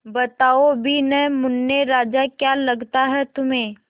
बताओ भी न मुन्ने राजा क्या लगता है तुम्हें